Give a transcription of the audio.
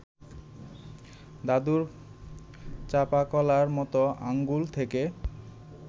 দাদুর চাঁপাকলার মতো আঙুল থেকে